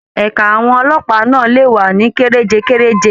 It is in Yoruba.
Ẹ̀ka àwọn ọlọ́pàá náà lè wà ní kerejekereje.